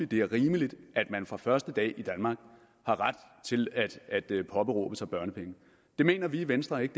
det er rimeligt at man fra den første dag i danmark har ret til børnepenge det mener vi i venstre ikke